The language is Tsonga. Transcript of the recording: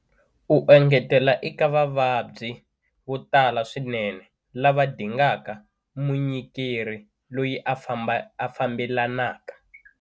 U engetela eka vavabyi vo tala swinene lava dingaka munyikeri loyi a fambelanaka.